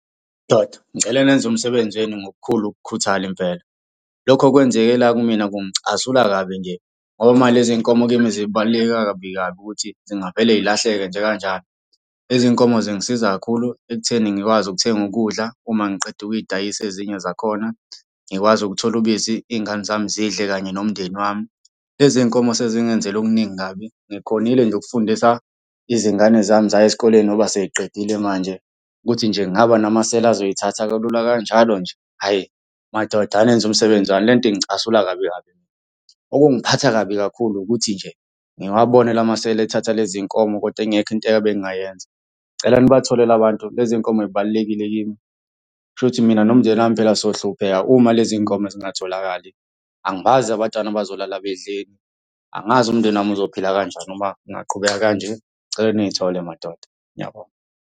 Ndoda, ngicela nenze umsebenzini wenu ngokukhulu ukukhuthala impela. Lokho okwenzeke la kumina kungicasula kabi nje, ngoba manje lezi nkomo kimi zibaluleke kabi kabi ukuthi zingavele y'lahleke nje kanjalo. Lezi nkomo zingisiza kakhulu ekutheni ngikwazi ukuthenga ukudla uma ngiqeda ukuy'dayisa ezinye zakhona, ngikwazi ukuthola ubisi iy'ngane zami zidle kanye nomndeni wami. Lezi nkomo sezingenzele okuningi kabi, ngikhonile nje ukufundisa izingane zami zaya esikoleni, ngoba sey'qedile manje, ukuthi nje kungaba namasela azoy'thatha kalula kanjalo nje hhayi madoda anenze umsebenzi wani le nto ingicasula kabi kabi. Okungiphatha kabi kakhulu ukuthi nje, ngiwabone la masela ethatha lezi nkomo kodwa ingekho into ebengingayenza. Ngicela nibathole la bantu lezi nkomo y'balulekile kimi. Kushukuthi mina nomndeni wami phela sohlupheka uma lezi nkomo zingatholakali, angibazi abantwana bazolala bedleni. Angazi umndeni wami uzophila kanjani uma kungaqhubeka kanje, ngicela niy'thole madoda. Ngiyabonga.